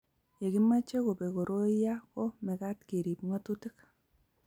ye kimeche kobek koroi ya ko mekat kerub ng'atutik